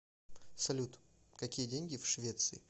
салют какие деньги в швеции